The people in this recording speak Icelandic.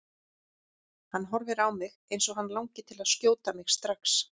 Hann horfir á mig eins og hann langi til að skjóta mig strax.